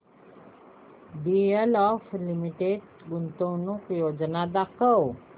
DLF limited गुंतवणूक योजना दाखव